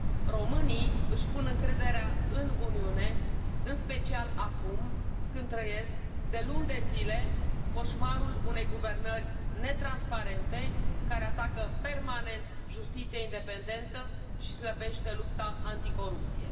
Românii își pun încrederea în Uniune în special acum, când trăiesc de luni de zile coșmarul unei guvernări netransparente, care atacă permanent justiția independentă și slăbește lupta anticorupție.